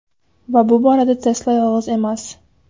Va bu borada Tesla yolg‘iz emas.